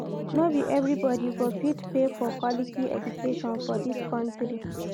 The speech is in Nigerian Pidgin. No be everybodi go fit pay for quality education for dis country.